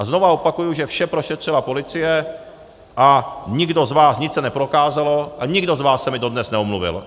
A znovu opakuji, že vše prošetřila policie a nikdo z vás - nic se neprokázalo - a nikdo z vás se mi dodnes neomluvil.